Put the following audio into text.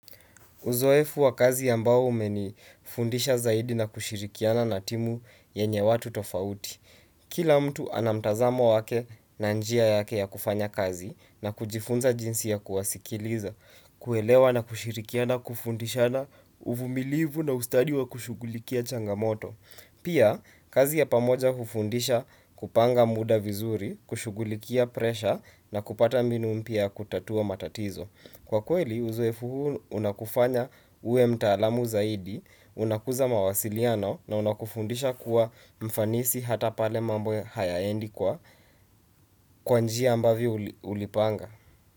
Uzoefu wa kazi yambao umeni fundisha zaidi na kushirikiana na timu yenye watu tofauti. Kila mtu anamtazamo wake na njia yake ya kufanya kazi na kujifunza jinsi ya kuwasikiliza, kuelewa na kushirikiana, kufundishana uvumilivu na ustadi wa kushugulikia changamoto. Pia, kazi ya pamoja ufundisha kupanga muda vizuri, kushugulikia presha na kupata mbinu mpia kutatua matatizo. Kwa kweli uzowefu huu unakufanya ue mtaalamu zaidi, unakuza mawasiliano na unakufundisha kuwa mfanisi hata pale mambo hayaendi kwa kwanjia ambavio ulipanga.